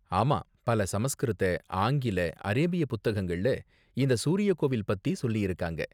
ஆமா, பல சமஸ்கிருத, ஆங்கில, அரேபிய புத்தகங்கள்ல இந்த சூரிய கோவில் பத்தி சொல்லியிருக்காங்க.